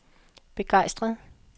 begejstret